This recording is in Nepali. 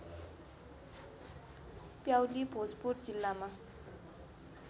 प्याउली भोजपुर जिल्लामा